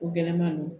O gɛlɛman ninnu